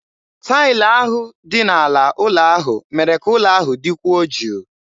Taịlị ahụ dị n'ala ụlọ ahụ mere ka ụlọ ahụ dịkwuo jụụ.